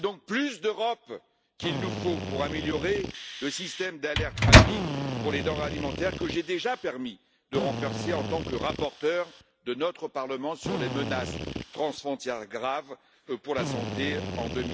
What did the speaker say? C'est donc plus d'Europe qu'il nous faut pour améliorer le système d'alerte rapide pour les denrées alimentaires que j'ai déjà permis de renforcer en tant que rapporteur de notre Parlement sur les menaces transfrontières graves pour la santé en